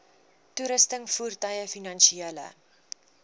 toerusting voertuie finansiële